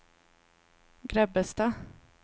Grebbestad